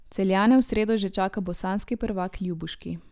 Celjane v sredo že čaka bosanski prvak Ljubuški.